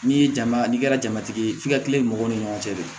N'i ye jama n'i kɛra jamatigi ye f'i ka tile mɔgɔw ni ɲɔgɔn cɛ de